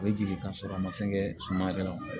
A bɛ jigin ka sɔrɔ a ma fɛn kɛ suma yɛrɛ la